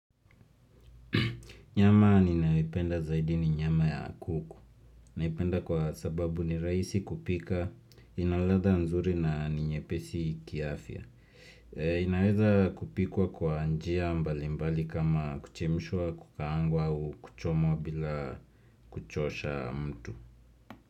Nyama ni nayoipenda zaidi ni nyama ya kuku. Naipenda kwa sababu ni rahisi kupika, inaladha nzuri na ninyepesi kiafya. Inaeza kupikwa kwa njia mbali mbali kama kuchemshwa kukaangwa au kuchomwa bila kuchosha mtu.